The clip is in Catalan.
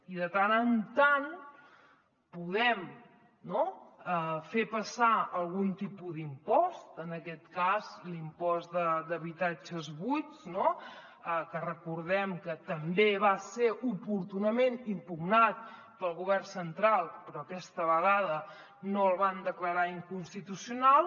i de tant en tant podem no fer passar algun tipus d’impost en aquest cas l’impost d’habitatges buits que recordem que també va ser oportunament impugnat pel govern central però aquesta vegada no el van declarar inconstitucional